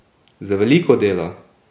Z veliko dela!